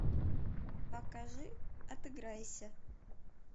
покажи отыграйся